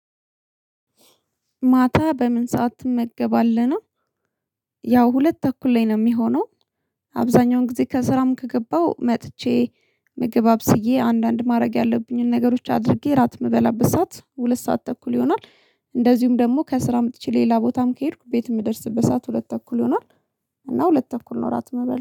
ማታ በምን ሰዓት ትመገባለህ ነው? ያው ሁለት ተኩል ላይ ነው ሚሆነው አብዛኛውን ጊዜ ከስራም ከገባው መጥቼ ምግብ አብዬ አንዳንድ ማድረግ ያለብኝን ነገሮች አድርጌ እራት የምበላበት ሰዓት ሁለት ሰዓት ተኩል ይሆናል። እንደዚሁም ደግሞ ከስራ መጥቼ ሌላ ቦታም ከሄድኩ ቤት ምደርስበት ሰዓት ሁለት ተኩል ይሆናል። እና ሁለት ተኩል ነው እራት ምበላ